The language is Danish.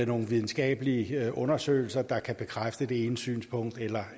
nogle videnskabelige undersøgelser der kan bekræfte det ene synspunkt eller